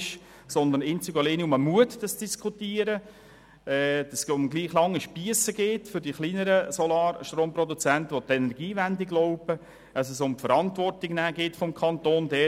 Vielmehr geht es einzig und alleine um den Mut, zu diskutieren, dass es um gleich lange Spiesse für die kleineren Solarstromproduzenten geht, die an die Energiewende glauben sowie um die Verantwortung und Glaubwürdigkeit des Kantons.